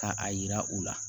Ka a yira u la